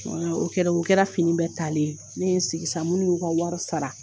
wala O kɛra o kɛra fini bɛ taalen ye ne ye sigi sa minnu y'u ka wari sara